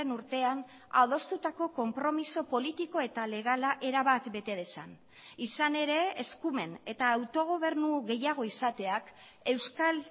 urtean adostutako konpromiso politiko eta legala erabat bete dezan izan ere eskumen eta autogobernu gehiago izateak euskal